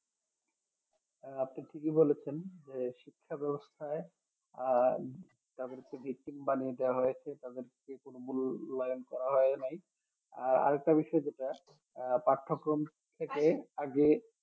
আহ আপনি ঠিকই বলেছেন যে শিক্ষা ব্যবস্থায় আহ যাদেরকে victim বানিয়ে দেওয়া হয়েছে তাদেরকে কোনো মূল্যায়ন করা হয় নাই আহ আর একটা বিষয় যেটা আহ পাঠ্যক্রম থেকে আগে